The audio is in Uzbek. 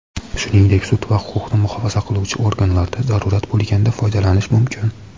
shuningdek sud va huquqni muhofaza qiluvchi organlarda zarurat bo‘lganda foydalanish mumkin.